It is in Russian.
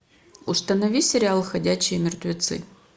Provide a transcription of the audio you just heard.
установи сериал ходячие мертвецы